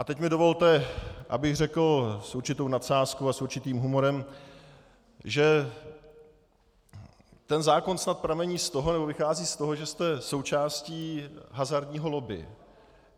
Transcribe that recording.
A teď mi dovolte, abych řekl s určitou nadsázkou a s určitým humorem, že ten zákon snad pramení z toho nebo vychází z toho, že jste součástí hazardního lobby.